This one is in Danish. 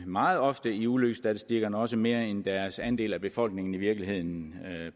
meget ofte i ulykkesstatistikkerne også mere end deres andel af befolkningen i virkeligheden